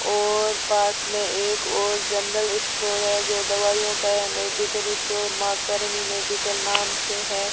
और पास में एक और जनरल स्टोर है जो दवाइयों का या medical store Maa Karni medical नाम से है।